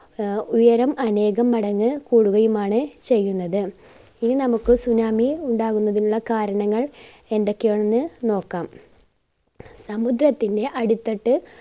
ആഹ് ഉയരം അനേകം മടങ്ങ് കൂടുകയുമാണ് ചെയ്യുന്നത്. ഇനി നമ്മുക്ക് tsunami ഉണ്ടാവുന്നതിനുള്ള കാരണങ്ങൾ എന്തൊക്കെയാണെന്ന് നോക്കാം. സമുദ്രത്തിന്റെ അടിത്തട്ട്